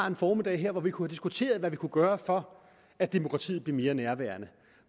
en formiddag her hvor vi kunne have diskuteret hvad vi kunne gøre for at demokratiet blev mere nærværende